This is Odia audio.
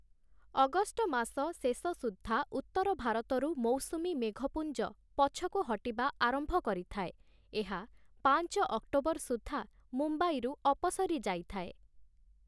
ଅଗଷ୍ଟ ମାସ ଶେଷ ସୁଦ୍ଧା ଉତ୍ତର ଭାରତରୁ ମୌସୁମୀ ମେଘପୁଞ୍ଜ ପଛକୁ ହଟିବା ଆରମ୍ଭ କରିଥାଏ । ଏହା ପାଞ୍ଚ ଅକ୍ଟୋବର ସୁଦ୍ଧା ମୁମ୍ବାଇରୁ ଅପସରି ଯାଇଥାଏ ।